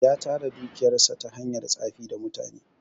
Ya tara dukiyar sa ta hanyar tsafi da mutane.